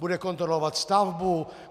Bude kontrolovat stavbu?